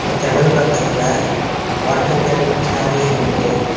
ஜன்னல் பக்கத்துல water can சேர்ல இருக்கு.